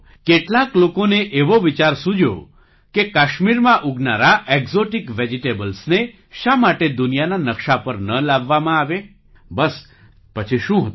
કેટલાક લોકોને એવો વિચાર સૂજ્યો કે કાશ્મીરમાં ઉગનારાં ઍક્ઝૉટિક વેજિટેબલ્સ ને શા માટે દુનિયાના નકશા પર ન લાવવામાં આવે બસ પછી શું હતું